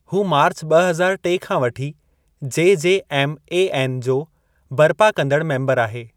हू मार्च ॿ हज़ार टे खां वठी जेजेएमएएन जो बरिपा कंदड़ु मेंबरु आहे।